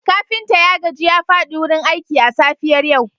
kafinta ya gaji ya fadi wurin aiki a safiyar yau